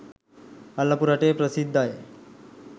අල්ලපු රටේ ප්‍රසිද්දයි